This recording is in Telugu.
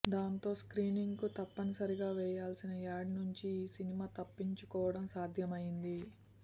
దాంతో స్క్రీనింగ్ కు తప్పనిసరిగా వేయాల్సిన యాడ్ నుంచి ఈ సినిమా తప్పించుకోవడం సాధ్యం అయింది